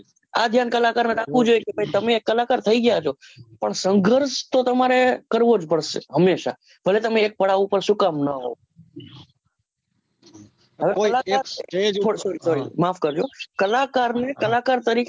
આ ધ્યાન કલાકાર ને રાખવું જોઈએ કે ભાઈ તમે કલાકાર થઈ ગયા છો પણ સંગર્ષ તો તમારે કરવો જ પડશે હંમેશા ભલે તમેં પડાવ પર શું કામ ના હો માફ કરજો કલાકાર ને કલાકાર તરીકે